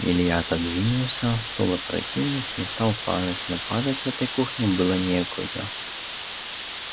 илья отодвинулся стул опрокинулся и стал падать но падать в этой кухне было некуда